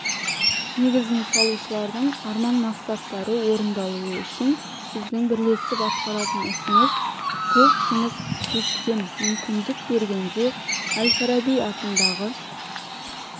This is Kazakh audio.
негізін салушылардың арман-мақсаттары орындалуы үшін біздің бірлесіп атқаратын ісіміз көп жұмыс кестем мүмкіндік бергенде әл-фараби атындағы